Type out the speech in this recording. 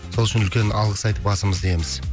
сол үшін үлкен алғыс айтып басымызды иеміз